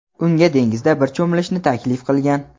unga dengizda birga cho‘milishni taklif qilgan.